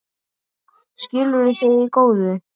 Skilduð þið í góðu?